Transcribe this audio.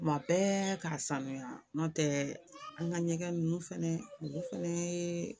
Kuma bɛɛ k'a sanuya n'o tɛ an ka ɲɛgɛn ninnu fɛnɛ olu fɛnɛ ye